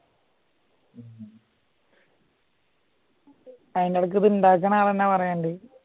അയിൻറ്റെടേക്ക് ഉണ്ടാക്കുന്ന ആള് തന്നെ പറയുന്നുണ്ട്